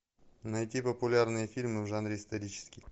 найти популярные фильмы в жанре исторический